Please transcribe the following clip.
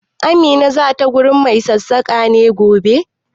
Amina za ta wurin mai sassaƙa ne gobe?